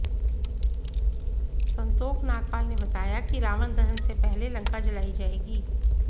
संतोख नागपाल ने बताया कि रावण दहन से पहले लंका जलाई जाएगी